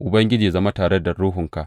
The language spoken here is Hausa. Ubangiji yă zama tare da ruhunka.